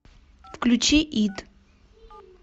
включи ит